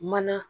Mana